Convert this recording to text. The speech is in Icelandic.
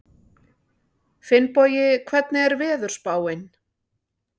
Finnbogi, hvernig er veðurspáin?